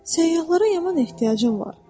Səyyahlara yaman ehtiyacım var.